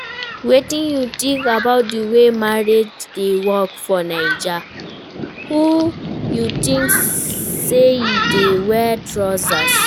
Wetin you think about di way marriage dey work for Naija, who you think say e dey wear trousers?